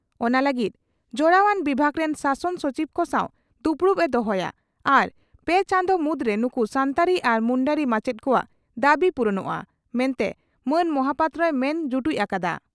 ᱚᱱᱟ ᱞᱟᱹᱜᱤᱫ ᱡᱚᱲᱟᱣᱟᱱ ᱵᱤᱵᱷᱟᱜ ᱨᱮᱱ ᱥᱟᱥᱚᱱ ᱥᱚᱪᱤᱵᱽ ᱠᱚ ᱥᱟᱣ ᱫᱩᱯᱩᱲᱩᱵ ᱮ ᱦᱚᱦᱚᱭᱟ ᱟᱨ ᱯᱮ ᱪᱟᱸᱫᱳ ᱢᱩᱫᱽᱨᱮ ᱱᱩᱠᱩ ᱥᱟᱱᱛᱟᱲᱤ ᱟᱨ ᱢᱩᱱᱰᱟᱹᱨᱤ ᱢᱟᱪᱮᱛ ᱠᱚᱣᱟᱜ ᱫᱟᱵᱤ ᱯᱩᱨᱩᱱᱚᱜᱼᱟ ᱢᱮᱱᱛᱮ ᱢᱟᱱ ᱢᱚᱦᱟᱯᱟᱛᱨᱚᱭ ᱢᱮᱱ ᱡᱩᱴᱩᱡ ᱟᱠᱟᱫᱼᱟ ᱾